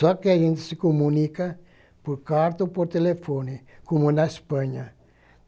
Só que a gente se comunica por carta ou por telefone, como na Espanha.